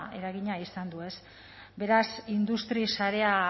eragina izan du ez beraz industria sarea